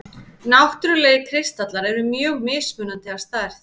Náttúrlegir kristallar eru mjög mismunandi að stærð.